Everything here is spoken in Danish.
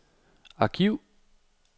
arkiv